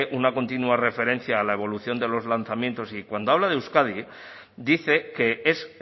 una continua referencia a la evolución de los lanzamientos y cuando habla de euskadi dice que es